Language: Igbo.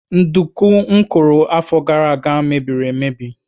Nduku m kụrụ afọ gara aga mebiri emebi.